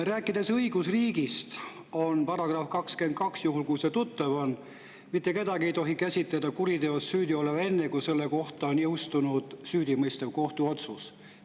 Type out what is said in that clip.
Rääkides õigusriigist, meil on § 22, mis on ehk tuttav ja mis ütleb: "Kedagi ei tohi käsitada kuriteos süüdi olevana enne, kui tema kohta on jõustunud süüdimõistev kohtuotsus.